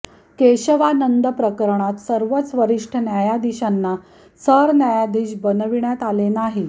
केशवानंद प्रकरणात सर्वाच वरिष्ठ न्यायाधीशांना सरन्यायाधीश बनविण्यात आले नाही